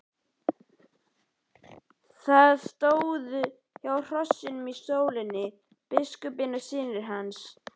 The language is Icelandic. Þeir stóðu hjá hrossunum í sólinni, biskupinn og synir hans.